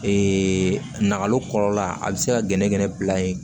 Ee nakalo kɔrɔ a bɛ se ka gɛnɛgɛnɛ bila yen